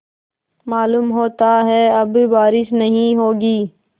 मालूम होता है अब बारिश नहीं होगी